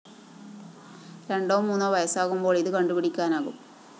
രണ്ടോ മൂന്നോ വയസ്സാകുമ്പോള്‍ ഇത് കണ്ടുപിടിക്കാനാവും